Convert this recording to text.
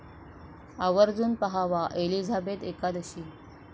आवर्जून पाहावा 'एलिझाबेथ एकादशी'